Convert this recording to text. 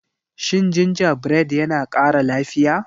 Shin gingerbread yana kara lafiya?